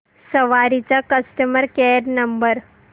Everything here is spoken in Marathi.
सवारी चा कस्टमर केअर नंबर